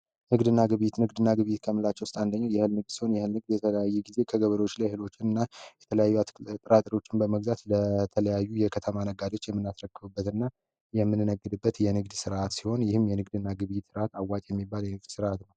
ንግድና ግብይት ንግድናቸው ውስጥ አንዱ እህል ሲሆን የተለያዩ አትክልቶችን የተለያዩ ጥራጥሮችን በመግዛት ለከተማ ነጋዴዎች የሚናከብርበት እና የምንናገድበት ስራ ሲሆን ይህም የንግድ ስርዓት አዋጭ የሚባል የንግድ ስርዓት ነው።